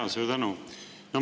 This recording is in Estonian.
Jaa, suur tänu!